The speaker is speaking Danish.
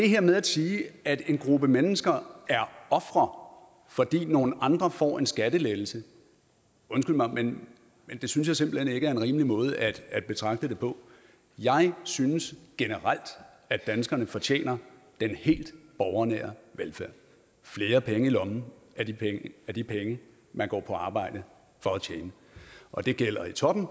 her med at sige at en gruppe mennesker er ofre fordi nogle andre får en skattelettelse undskyld mig men det synes jeg simpelt hen ikke er en rimelig måde at betragte det på jeg synes generelt at danskerne fortjener den helt borgernære velfærd flere penge i lommen af de penge man går på arbejde for at tjene og det gælder i toppen